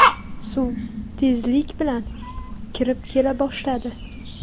Suv tezlik bilan kirib kela boshladi.